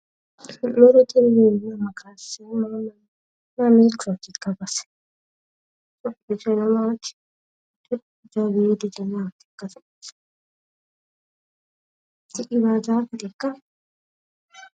Misilete iima kayissinoti mamiichootikka base? .... Tini baarzaafetekka?